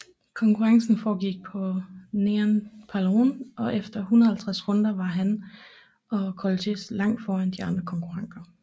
Konkurrencen foregik på Neon Phaleron og efter 150 runder var han og Kolettis langt foran de andre konkurrenter